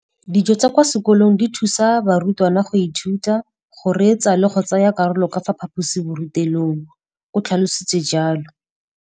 Dijo tsa kwa sekolong dithusa barutwana go ithuta, go reetsa le go tsaya karolo ka fa phaposiborutelong, o tlhalositse jalo.